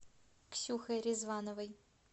ксюхой ризвановой